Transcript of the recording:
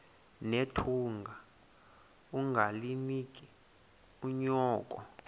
nethunga ungalinik unyoko